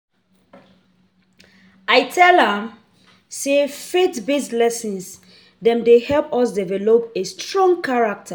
I tell am sey faith-based lesson dem dey help us develop a strong character.